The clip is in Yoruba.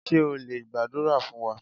Ṣé o lè gbàdúrà fún wa?